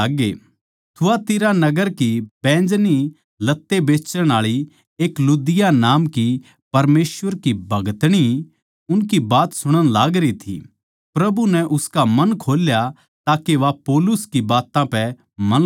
थुआथिरा नगर की बैंजनी लत्ते बेचण आळी एक लुदिया नाम की परमेसवर की भगतणी उनकी बात सुणण लागरी थी प्रभु नै उसका मन खोल्या ताके वा पौलुस की बात्तां पै मन लगावै